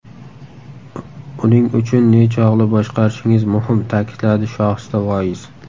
Uning uchun nechog‘li boshqarishingiz muhim”, ta’kidladi Shohista Voiz.